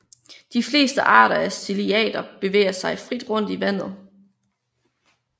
De fleste arter af ciliater bevæger sig frit rundt i vandet